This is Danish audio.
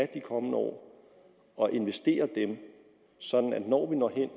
de kommende år og investerede det sådan at når vi når hen